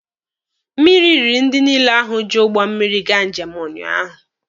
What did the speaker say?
Mmiri riri ndị niile ahụ ji ụgbọ mmiri gaa njem ụnyaahụ.